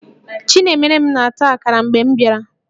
Chinemerem na-ata akara mgbe m bịara